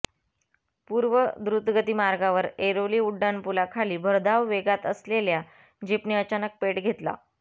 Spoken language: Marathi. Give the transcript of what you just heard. पूर्व द्रुतगती मार्गावर ऐरोली उड्डाण पुलाखाली भरधाव वेगात असलेल्या जीपने अचानक पेट घेतला